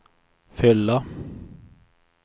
fylla